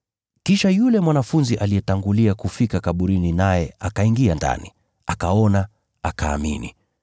Kisha yule mwanafunzi aliyetangulia kufika kaburini naye akaingia ndani, akaona, akaamini,